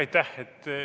Aitäh!